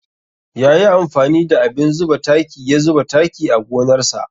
Ya yi amfani da abin zuba taki ya zuba taki a gonar sa.